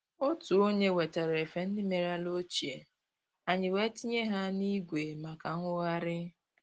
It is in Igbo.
Otu onye wetara efe ndị merela ochie, anyị wee tinye ha n'igwe maka nwogharị